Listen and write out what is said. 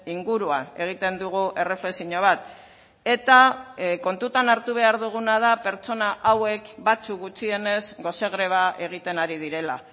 inguruan egiten dugu erreflexio bat eta kontutan hartu behar duguna da pertsona hauek batzuk gutxienez gose greba egiten ari direla